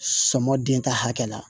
Sɔmɔ den ka hakɛ la